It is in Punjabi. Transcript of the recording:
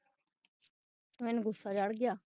ਮੈਨੂੰ ਗੁਸਾ ਚੜ੍ਹ ਗਿਆ